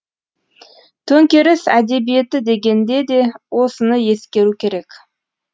төңкеріс әдебиеті дегенде де осыны ескеру керек